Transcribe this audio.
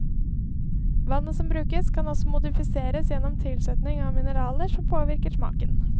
Vannet som brukes, kan også modifiseres gjennom tilsetning av mineraler som påvirker smaken.